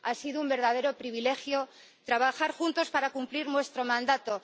Ha sido un verdadero privilegio trabajar juntos para cumplir nuestro mandato.